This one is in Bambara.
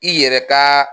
I yɛrɛ ka